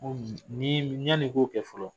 Ko ni yann'i k'o kɛ fɔlɔ